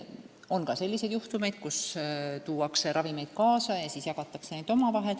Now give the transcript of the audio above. On ka selliseid juhtumeid, kus tuuakse ravimeid kaasa ja siis jagatakse neid omavahel.